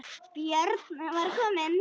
Björn var kominn.